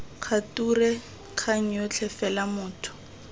kgature kgang yotlhe fela motho